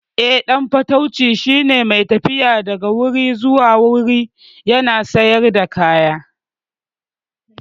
Eh, ɗan fatauci shine mai tafiya daga wuri zuwa wuri yana sayar da kaya.